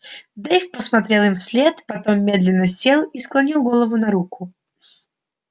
дейв посмотрел им вслед потом медленно сел и склонил голову на руку